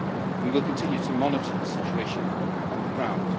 We will continue to monitor the situation on the ground.